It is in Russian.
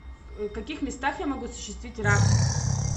в каких местах я могу осуществить рафтинг